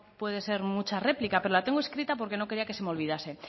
puede ser mucha réplica pero la tengo escrita porque no quería que se me olvidase